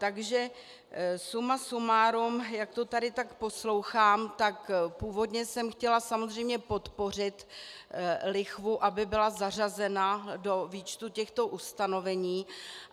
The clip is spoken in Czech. Takže suma sumárum, jak to tady tak poslouchám, tak původně jsem chtěla samozřejmě podpořit lichvu, aby byla zařazena do výčtu těchto ustanovení.